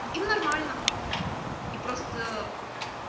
им нормально и просто